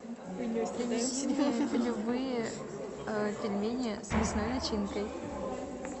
любые пельмени с мясной начинкой